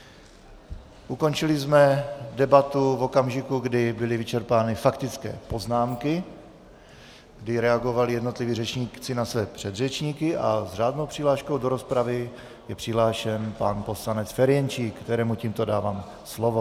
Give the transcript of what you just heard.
Ukončili jsme debatu v okamžiku, kdy byly vyčerpány faktické poznámky, kdy reagovali jednotliví řečníci na své předřečníky, a s řádnou přihláškou do rozpravy je přihlášen pan poslanec Ferjenčík, kterému tímto dávám slovo.